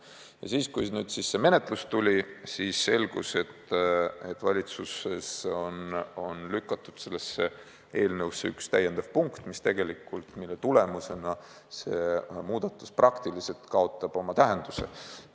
Ja siis, kui see menetlus algas, selgus, et valitsuses on lükatud sellesse eelnõusse üks täiendav punkt, mille tõttu see muudatus praktiliselt kaotab oma tähenduse.